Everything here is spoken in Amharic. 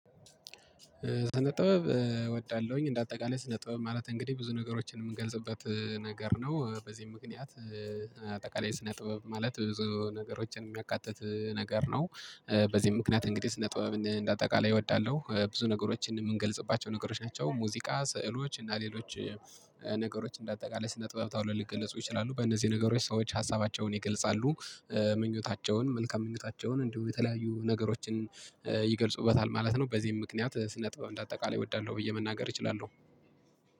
ስነ ጥበብ እወዳለሁኝ እንደ አጠቃላይ ስነ ጥበብ ማለት እንግዲህ ብዙ ነገሮችን የምንገልጽበት ነገር ነው። በዚህ ምክንያት አጠቃላይ ስነ ጥበብ ማለት ብዙ ነገሮችን የሚያካትት ነገር ነው። በዚህ ምክንያት እንግዲህ ስነ ጥበብን እንደ አጠቃላይ እወዳለው ብዙ ነገሮችን የምንገልጽባቸው ነገሮች ናቸው። ሙዚቃ ስዕሎች እና ሌሎች ነገሮች እንደ አጠቃላይ ስነ ጥበብ ታውለው ሊገልጹ ይችላሉ። በእነዚህ ነገሮች ሰዎች ሀሳባቸውን ይገልጻሉ ምኞታቸውን መልካም ምኞታቸውን እንዲሁ የተለያዩ ነገሮችን ይገልጹበታል ማለት ነው። በዚህም ምክንያት ስነ ጥበብ አንደ አጠቃላይ እወዳለው ብዬ መናገር እችላለው።